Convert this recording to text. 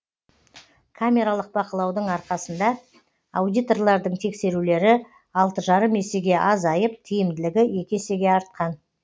камералық бақылаудың арқасында аудиторлардың тексерулері алты жарым есеге азайып тиімділігі екі есеге артқан